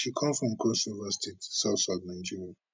she come from crossriver state southsouth nigeria